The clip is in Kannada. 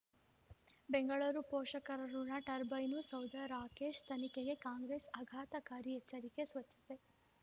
ಬೆಂಗಳೂರು ಪೋಷಕರಋಣ ಟರ್ಬೈನು ಸೌಧ ರಾಕೇಶ್ ತನಿಖೆಗೆ ಕಾಂಗ್ರೆಸ್ ಆಘಾತಕಾರಿ ಎಚ್ಚರಿಕೆ ಸ್ವಚ್ಛತೆ